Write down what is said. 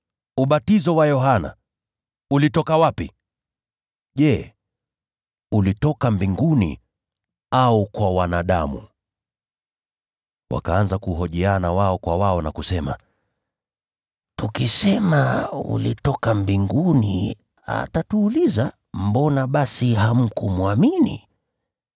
Ubatizo wa Yohana, ulitoka wapi? Je, ulitoka mbinguni au kwa wanadamu?” Wakahojiana wao kwa wao na kusema, “Tukisema ulitoka mbinguni atatuuliza, ‘Mbona basi hamkumwamini?’